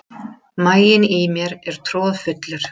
Maginn í mér er troðfullur.